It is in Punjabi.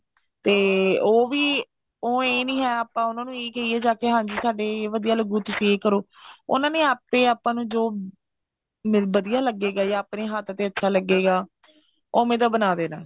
ਤੇ ਉਹ ਵੀ ਉਹ ਇਹ ਨਹੀਂ ਹੈ ਆਪਾਂ ਉਹਨਾ ਨੂੰ ਇਹ ਕਹਿਏ ਜਾਕੇ ਵੀ ਹਾਂਜੀ ਸਾਡੇ ਇਹ ਵਧੀਆ ਲੱਗੂ ਤੁਸੀਂ ਇਹ ਕਰੋ ਉਹਨਾ ਨੇ ਆਪੇ ਆਪਾਂ ਨੂੰ ਜੋ ਵਧੀਆ ਲੱਗੇਗਾ ਜਾਂ ਆਪਣੇ ਹੱਥ ਤੇ ਵਧੀਆ ਲੱਗੇਗਾ ਉਵੇਂ ਦਾ ਬਣਾ ਦੇਣਾ